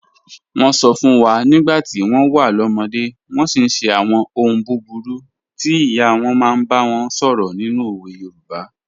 Wọ́n sọ fún wa nígbà tí wọ́n wà lọ́mọdé, wọ́n sì ń ṣe àwọn ohun búburú tí ìyá wọn máa ń bá wọn sọ̀rọ̀ nínú òwe Yorùbá.